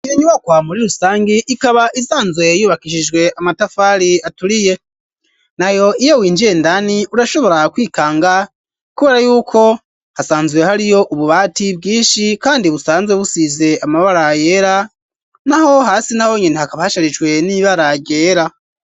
Iyo nyubakwa muri rusangi ikaba isanzwe yubakishijwe amatafari aturiye nayo iyo winjiye indani urashobora kwikanga kubera y'uko hasanzwe hariyo ububati bwishi kandi busanzwe busize amabara yera naho hasi na honyene hakaba hasharijwe n'ibara ryera.